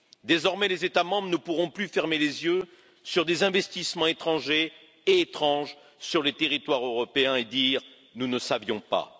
Désormais, les États membres ne pourront plus fermer les yeux sur des investissements étrangers et étranges sur le territoire européen et dire nous ne savions pas.